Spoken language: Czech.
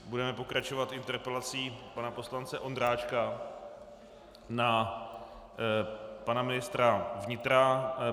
Budeme pokračovat interpelací pana poslance Ondráčka na pana ministra vnitra.